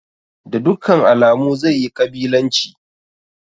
Da dukkan alamu zai yi ƙabilanci.